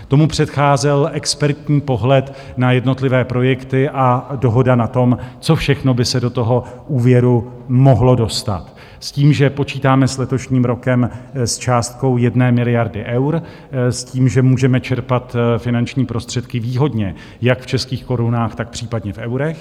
Tomu předcházel expertní pohled na jednotlivé projekty a dohoda na tom, co všechno by se do toho úvěru mohlo dostat, s tím, že počítáme s letošním rokem s částkou 1 miliardy eur, s tím, že můžeme čerpat finanční prostředky výhodně jak v českých korunách, tak případně v eurech.